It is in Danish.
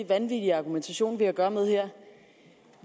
vanvittig argumentation vi har at gøre med her